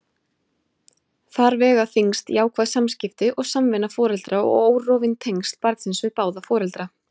Þar vega þyngst jákvæð samskipti og samvinna foreldra og órofin tengsl barnsins við báða foreldra.